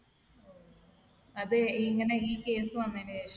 അത് ഇങ്ങനെ ഈ case വന്നതിന് ശേഷം?